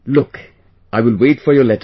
Look, I will wait for your letter